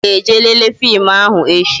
Anyi ga-eje lele fim ahụ echi